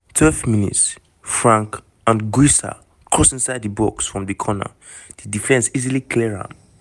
12 mins - frank anguissa cross inside di box from the corner di defence easily clear am.